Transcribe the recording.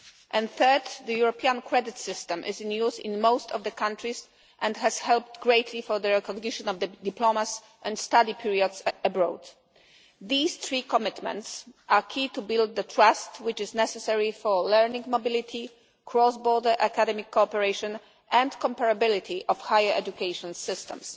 And third, the European credit system is in use in most of the countries and has helped greatly for the contribution of diplomas and study periods abroad. These three commitments are key to build the trust which is necessary for learning mobility, cross border academic cooperation and comparability of higher education systems.